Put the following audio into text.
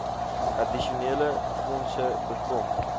addisionele fondse bekom